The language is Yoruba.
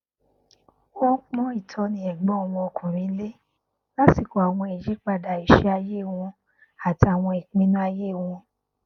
wọn pọn ìtọni ẹgbọn wọn ọkùnrin lé lásìkò àwọn ìyípadà iṣẹ ayé wọn àti àwọn ìpinnu ayé wọn